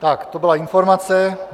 Tak to byla informace.